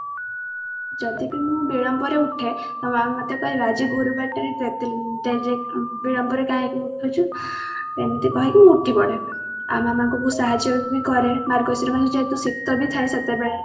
ଯଦି ବି ମୁଁ ବିଳମ୍ବ ରେ ଉଠେ ତ ମାମା ମୋତେ କହେ ଆଜି ଗୁରୁବାରଟାରେ ତୁ ଏତେ late ଯାଏଁ ବିଳମ୍ବ ରେ କାହିଁକି ଉଠୁଛୁ ଏମତି କହିକି ମୁଁ ଉଠିପଡେ ଆଉ ମାମାଙ୍କୁ ବହୁତ ସାହାର୍ଯ୍ୟ ବି କରେ ମାର୍ଗଶିର ମାସ ଯେହେତୁ ଶିତ ବି ଥାଏ ସେତେବେଳେ